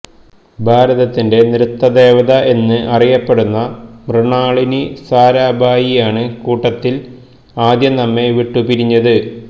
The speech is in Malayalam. ഭാരതത്തിന്റെ നൃത്ത ദേവത എന്ന് അറിയപ്പെട്ട മൃണാളിനി സാരാഭായിയാണ് കൂട്ടത്തില് ആദ്യം നമ്മെ വിട്ടുപിരിഞ്ഞത്